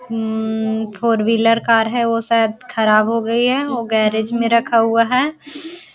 हूं four wheeler car है वो शायद वह खराब हो गई है वो गैरेज में रखा हुआ है।